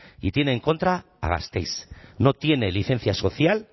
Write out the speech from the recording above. y tiene en contra a gasteiz no tiene licencia social